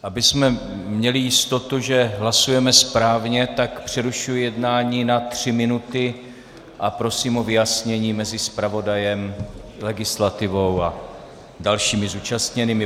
Abychom měli jistotu, že hlasujeme správně, tak přerušuji jednání na tři minuty a prosím o vyjasnění mezi zpravodajem, legislativou a dalšími zúčastněnými.